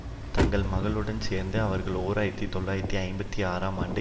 தங்கள் மகளுடனும் சேர்ந்து அவர்கள் ஓர் ஆயிரத்தி தொள்ளாயிரத்தி ஐம்பத்தி ஆறாம் ஆண்டு